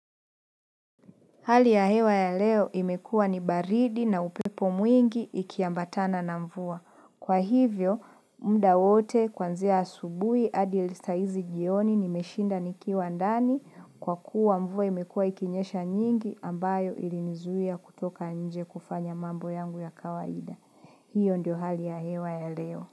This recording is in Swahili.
Hali ya hewa ya leo imekuwa ni baridi na upepo mwingi ikiambatana na mvua. Kwa hivyo, muda wote kuanzia asubuhi adi saa hizi jioni nimeshinda nikiwa ndani kwa kuwa mvua imekuwa ikinyesha nyingi ambayo ilinizuia kutoka nje kufanya mambo yangu ya kawaida. Hio ndio hali ya hewa ya leo.